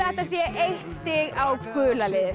þetta sé eitt stig á gula liðið